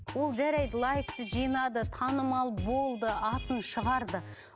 ол жарайды лайкті жинады танымал болды атын шығарды